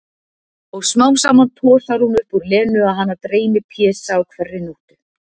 Og smám saman tosar hún upp úr Lenu að hana dreymi Pésa á hverri nóttu.